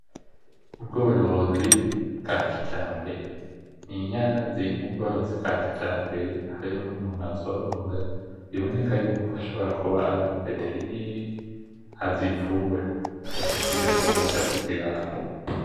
Ubworozi bwa kijambere, ninyana ziri mubworozi bwa kijambere hariho numutu azorora biboneka yuko ashobora kuba ari umu veterinere azivura, aje kuzivura aje kuziraba.